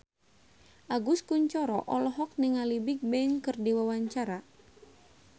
Agus Kuncoro olohok ningali Bigbang keur diwawancara